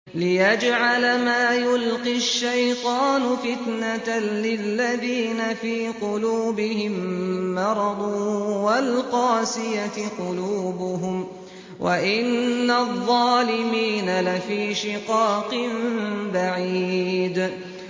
لِّيَجْعَلَ مَا يُلْقِي الشَّيْطَانُ فِتْنَةً لِّلَّذِينَ فِي قُلُوبِهِم مَّرَضٌ وَالْقَاسِيَةِ قُلُوبُهُمْ ۗ وَإِنَّ الظَّالِمِينَ لَفِي شِقَاقٍ بَعِيدٍ